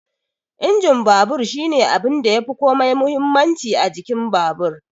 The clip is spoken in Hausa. Injin babur shine abunda yafi komai muhimmanci a jikin babur